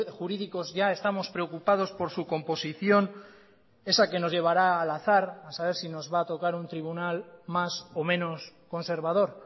jurídicos ya estamos preocupados por su composición esa que nos llevará al azar a saber si nos va a tocar un tribunal más o menos conservador